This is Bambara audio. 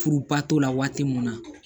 Furuba t'o la waati mun na